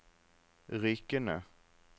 Rykene